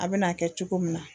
A bɛn'a kɛ cogo min na